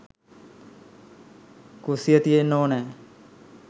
කුස්සිය තියෙන්න ඕනෑ